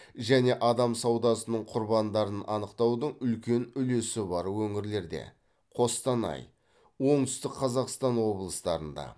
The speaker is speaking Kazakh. және адам саудасының құрбандарын анықтаудың үлкен үлесі бар өңірлерде қостанай оңтүстік қазақстан облыстарында